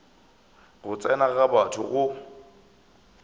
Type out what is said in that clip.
go tsena ga batho go